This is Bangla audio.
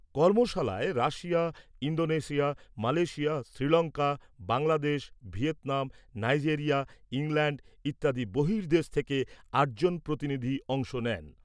কর্মশালায় Russia, Indonesia, Malaysia, Sri Lanka, Bangladesh, Vietnam, Nigeria, England ইত্যাদি বর্হিদেশ থেকে আট জন প্রতিনিধি অংশ নেন।